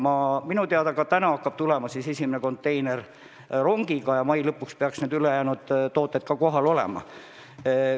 Minu teada aga hakkab täna tulema esimene konteiner rongiga ja mai lõpuks peaks ülejäänud partii kohal olema.